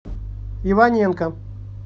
иваненко